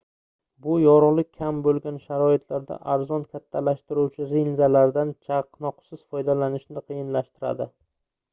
bu yorugʻlik kam boʻlgan sharoitlarda arzon kattalashtiruvchi linzalardan chaqnoqsiz foydalanishni qiyinlashtiradi